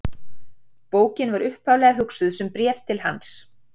Bókin var upphaflega hugsuð sem bréf til hans.